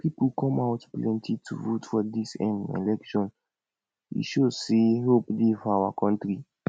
people come out plenty to vote for dis um election e show say hope dey for our country